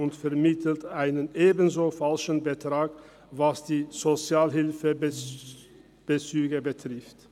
Auch betreffend Sozialhilfebezügen vermittelt er einen falschen Betrag.